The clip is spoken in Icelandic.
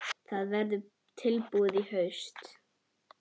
Það verður tilbúið í haust.